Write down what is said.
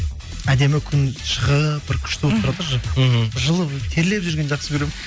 әдемі күн шығып бір күшті болып тұрады ж мхм жылы терлеп жүргенді жақсы көремін